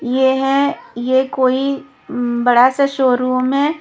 ये है ये कोई बड़ा सा शोरूम हैं।